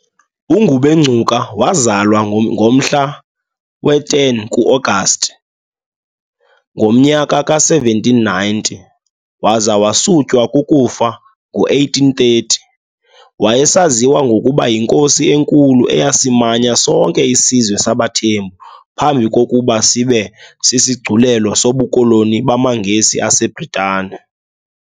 UNgubengcuka wazalwa ngomhla we-10 ku-Agasti ngomnyaka ka1790 waza wasutywa kukufa ngo1830. Wayesaziwa ngokuba yiNkosi eNkulu, eyasimanya sonke isizwe sabaThembu phambi kokuba sibe sisigculelo sobukoloni bamaNgesi aseBritane.